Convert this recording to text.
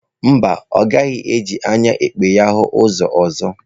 Mba, ọ gaghị eji anya ekpe ya hụ ụzọ ọzọ.